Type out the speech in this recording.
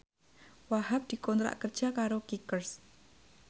Wahhab dikontrak kerja karo Kickers